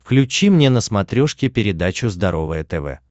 включи мне на смотрешке передачу здоровое тв